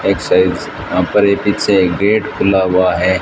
एक साइज यहां पर एक पीछे गेट खुला हुआ है।